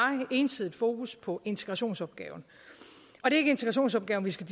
ensidigt fokus på integrationsopgaven og det er ikke integrationsopgaven vi skal